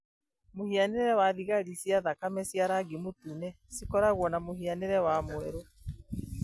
Mũhianĩre wa thigari cia thakame cia rangi mũtune cigakorwo na mũhianĩre wa mweri.